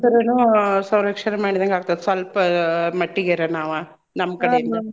ಪರಿಸರನೂ ಸಂರಕ್ಷಣೆ ಮಾಡಿದಂಗ್ ಆಗ್ತದ ಸ್ವಲ್ಪ ಮಟ್ಟಿಗೇರ ನಾವ ನಮ್ ಕಡೆ ಇಂದ.